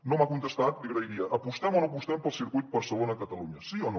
no m’ha contestat li ho agrairia apostem o no apostem pel circuit de barcelona catalunya sí o no